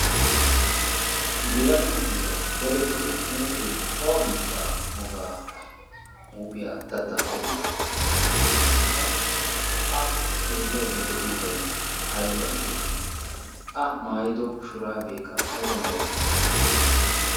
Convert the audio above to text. yelaga na7iyaa dadettido huuphee awa biittaa wogaa huuphiyaa datta qommoi? qassikka a xeellaidda de7iyoobai aiba geetettii ?a maayido shuraabeekka aiba mere?